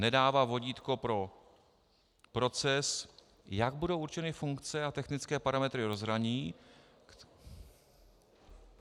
Nedává vodítko pro proces, jak budou určeny funkce a technické parametry rozhraní...